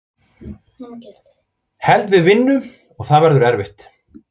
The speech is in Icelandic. Held við vinnum og það verður erfitt.